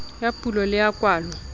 ya pulo le ya kwalo